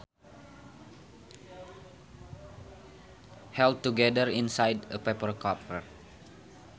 held together inside a paper cover